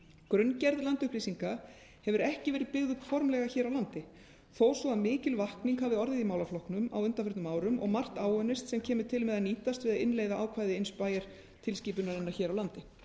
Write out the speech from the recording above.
grunngerð landupplýsinga hefur ekki verið byggð upp formlega hér á landi þó svo að mikil vakning hafi orðið í málaflokknum á undanförnum árum og margt áunnist sem kemur til með að nýtast við að innleiða ákvæði inspire tilskipunarinnar hér á landi